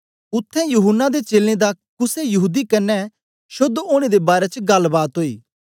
उत्थें यूहन्ना दे चेलें दा कुसे यहूदी कन्ने शोद्ध ओनें दे बारै च गल्ल बात ओई